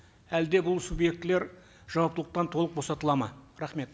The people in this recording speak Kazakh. әлде бұл субъектліер жауаптылықтан толық босатылады ма рахмет